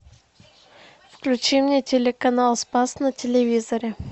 включи мне телеканал спас на телевизоре